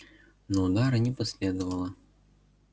но удара не последовало